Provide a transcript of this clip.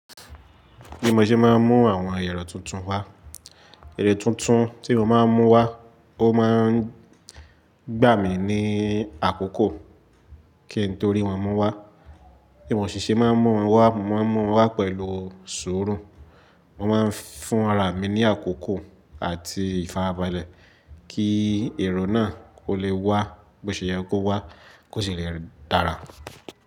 Bí mo ṣe máa ń mú àwọn ẹ̀rọ tuntun wá, ẹ̀rọ tuntun tí mo máa ń mú wá ó máa ń gbà mí ní àkókò kí n torí wọn mú wá. Bí mo ṣe ṣe máa ń mú wọn wá, mo máa ń mú wọn wá pẹ̀lú sùúrù, mo máa ń fún ara mi ní àkókò àti ìfarabalẹ̀ kí ẹ̀rọ náà kó lè wá, bó ṣe yẹ kó wá kó sì lè dára.